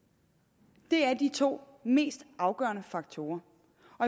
det er er de to mest afgørende faktorer